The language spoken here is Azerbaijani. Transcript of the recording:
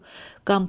Qanpolad!